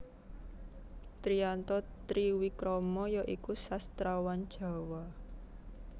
Triyanto Triwikromo ya iku sastrawan Jawa